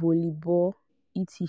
volleyball etc